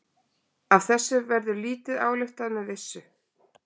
Illa er þó tröllum við kristni og kirkjur og hopa jafnan undan ef kirkjuklukkur gjalla.